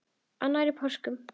Annar í páskum.